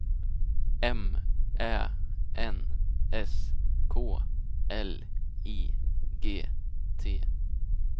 M Ä N S K L I G T